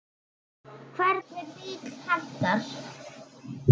Hvernig bíll hentar?